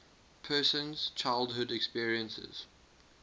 person's childhood experiences